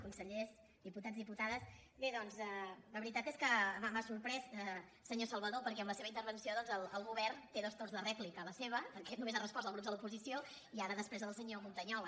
consellers diputats diputades bé doncs la veritat és que m’ha sorprès senyor salvadó perquè amb la seva intervenció doncs el govern té dos torns de rèplica la seva perquè només ha respost als grups de l’oposició i ara després la de senyor montañola